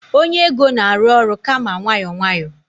onye ego na-arụ ọrụ kama nwayọọ nwayọọ